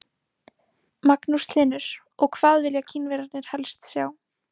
Magnús Hlynur: Og hvað vilja Kínverjarnir helst sjá?